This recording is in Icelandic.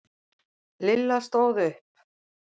Lilla stóð upp.